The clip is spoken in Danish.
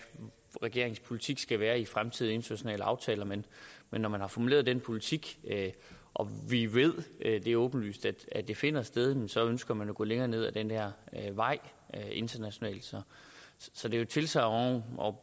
regeringens politik skal være i fremtidige internationale aftaler men når man har formuleret den politik og vi ved det er åbenlyst at det finder sted jamen så ønsker man at gå længere ned ad den her vej internationalt så det er et tilsagn om